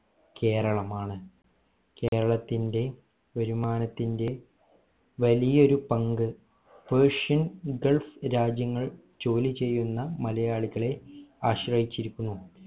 കേരളമാണ് കേരളത്തിന്റെ വരുമാനത്തിന്റെ വലിയൊരു പങ്ക് persian gulf രാജ്യങ്ങൾ ജോലിചെയ്യുന്ന മലയാളികളെ ആശ്രയിച്ചിരിക്കുന്നു